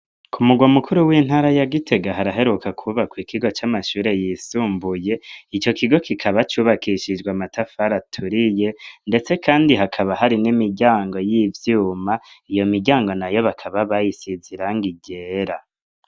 Ku murwa mukuru w'intara ya Gitega haraheruka kubakwa ikigo c'amashure yisumbuye ico kigo kikaba cubakishijwe amatafari aturiye ndetse kandi hakaba hari n'imiryango y'ivyuma iyo miryango nayo bakaba bayisize irangi ryera.